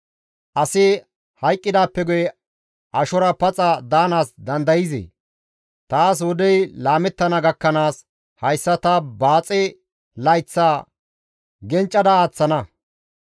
Asi hayqqidaappe guye ashora paxa daanaas dandayzee? Taas wodey laamettana gakkanaas, ta hayssa baaxe layththaa gencca aaththana.